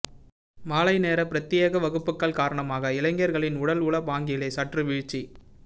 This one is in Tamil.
மாலை நேர பிரத்தியேக வகுப்புக்கள் காரணமாக இளைஞர்களின் உடல் உள பாங்கிலே சற்று வீழ்ச்சி